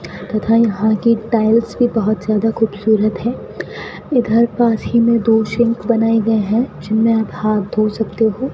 तथा यहां की टाइल्स भी बहोत ज्यादा खूबसूरत है इधर पास ही में दो सिंक बनाए गए है जिनमें आप हाथ धो सकते हो --